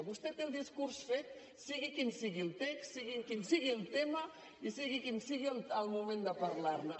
vostè té el discurs fet sigui quin sigui el text sigui quin sigui el tema i sigui quin sigui el moment de parlar ne